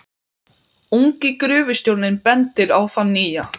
Ungi gröfustjórinn bendir á þann nýja.